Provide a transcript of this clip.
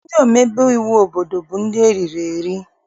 Ndị omebe iwu obodo bụ ndị eriri eri.